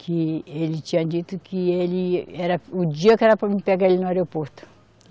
Que ele tinha dito que ele, era o dia que era para mim pegar ele no aeroporto.